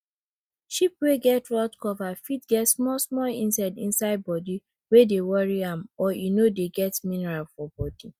sheep wey get rought cover fit get small small insect inside body wey dey worry am or e no dey get miniral for body